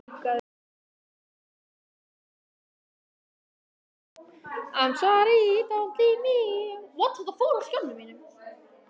Átti að refsa honum líka, eða hvað?